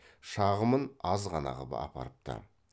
шағымын аз ғана қып апарыпты